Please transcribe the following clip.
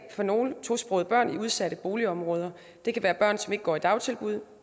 for nogle tosprogede børn i udsatte boligområder det kan være børn som ikke går i dagtilbud